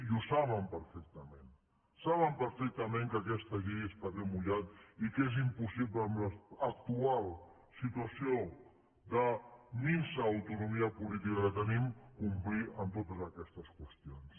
i ho saben perfectament saben perfectament que aquesta llei és paper mullat i que és impossible en l’actual situació de minsa autonomia política que tenim complir amb totes aquestes qüestions